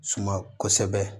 Suma kosɛbɛ